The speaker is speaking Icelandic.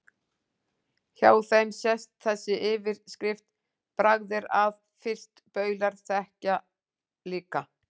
Hjá þeim sést þessi yfirskrift: Bragð er að, fyrst baulur þekkja líka